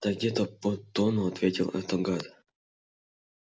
да где-то под тонну ответил этот гад